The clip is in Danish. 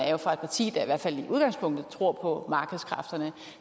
er fra et parti der i hvert fald i udgangspunktet tror på markedskræfterne